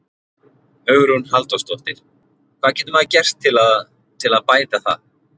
Hugrún Halldórsdóttir: Hvað getur maður gert til að, til að bæta það?